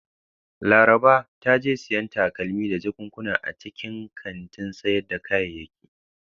Laraba ta je siyan takalmi da jakunkuna a cikin kantin sayar da kayayyaki.